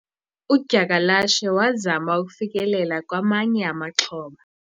udyakalashe wazama ukufikelela kwamanye amaxhoba